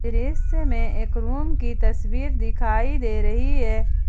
दृश्य में एक रूम की तस्वीर दिखाई दे रही है।